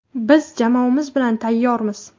Biz jamoamiz bilan tayyormiz!